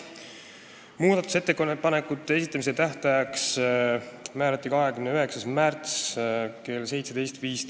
Muudatusettepanekute esitamise tähtajaks määrati 29. märts kell 17.15.